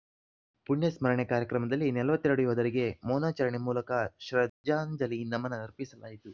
ಪುಣ್ಯಸ್ಮರಣೆ ಕಾರ್ಯಕ್ರಮದಲ್ಲಿ ನಲವತ್ತ್ ಎರಡು ಯೋಧರಿಗೆ ಮೌನಾಚರಣೆ ಮೂಲಕ ಶ್ರದ್ಧಾಂಜಲಿ ನಮನ ಅರ್ಪಿಸಲಾಯಿತು